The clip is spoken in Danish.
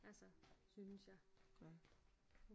Altså synes jeg